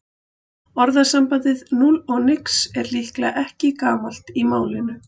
Orðasambandið núll og nix er líklega ekki gamalt í málinu.